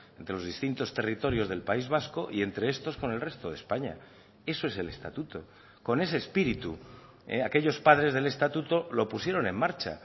entre los distintos territorios del país vasco y entre estos con el resto de españa eso es el estatuto con ese espíritu aquellos padres del estatuto lo pusieron en marcha